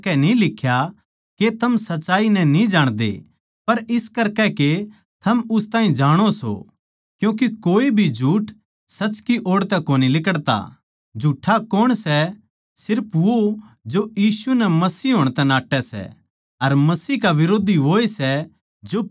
अर थारे म्ह पवित्र आत्मा जो मसीह की ओड़ तै मिला सै वो थारे म्ह रहवै सै इस करकै यो जरूरी कोनी के कोए थमनै उस सच्चाई के बारें म्ह सिखावै बल्के पवित्र आत्मा थारे ताहीं उन बात्तां की सारी सच्चाई बतावै सै अर पवित्र आत्मा जो थारे ताहीं सिखावैगा वो बिल्कुल सच सै अर थारे तै झूठ कोनी बोल्लैगा इस करकै मसीह म्ह बणे रह्वो जिसा थारे ताहीं पवित्र आत्मा नै सिखाया सै